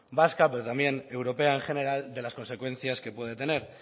vasca pero también europea en general de las consecuencias que puede tener